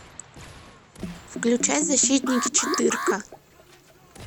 включай защитники четырка